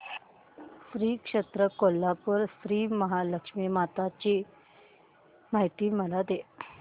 श्री क्षेत्र कोल्हापूर श्रीमहालक्ष्मी माता ची मला माहिती दे